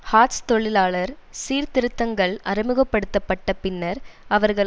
hearts தொழிலாளர் சீர்திருத்தங்கள் அறிமுக படுத்த பட்ட பின்னர் அவர்கள்